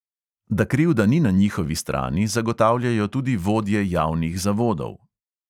Da krivda ni na njihovi strani, zagotavljajo tudi vodje javnih zavodov.